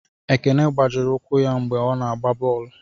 Ekene gbajiri ụkwụ ya mgbe ọ na-agba bọọlụ.